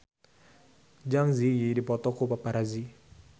Zang Zi Yi dipoto ku paparazi